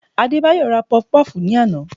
Adébáyọ̀ ra Pọfupọ́ọ̀fù ní àná